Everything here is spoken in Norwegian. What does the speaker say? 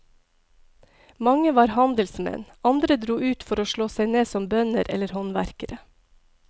Mange var handelsmenn, andre dro ut for å slå seg ned som bønder eller håndverkere.